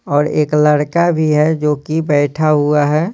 और एक लड़का भी है जो कि बैठा हुआ है।